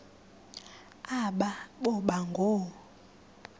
aba boba ngoo